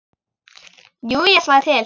Jú, ég slæ til